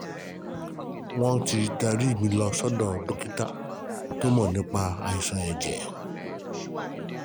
um Wọ́n ti darí um mi lọ sọ́dọ̀ dókítà kan tó mọ̀ nípa àìsàn ẹ̀jẹ̀ um